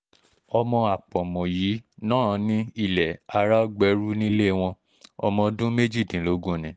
ọmọ àpọ̀mù yìí náà ní ilẹ̀ áráógbérú nílé wọn ọmọ ọdún méjìdínlógún ni